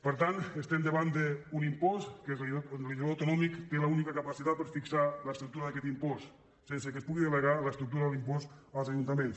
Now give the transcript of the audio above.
per tant estem davant d’un impost en què el legislador autonòmic té l’única capacitat per fixar l’estructura d’aquest impost sense que es pugui delegar l’estructura de l’impost als ajuntaments